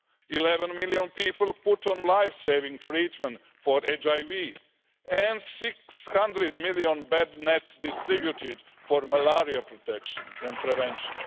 Eleven million people were put on life-saving treatment for HIV and 600 million bed nets were distributed for malaria protection and prevention.